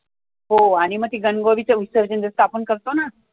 हो आणि म ते गण गौरीचं विसर्जन जसं आपण करतो ना